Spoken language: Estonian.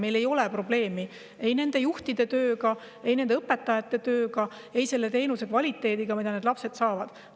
Meil ei ole probleemi ei nende juhtide tööga, ei nende õpetajate tööga ega selle teenuse kvaliteediga, mida need lapsed saavad.